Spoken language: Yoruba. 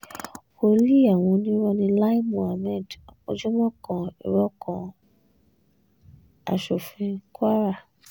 wòlíì àwọn onírò ní lai muhammed ojúmọ́ kan irọ́ kan ní-aṣòfin kwara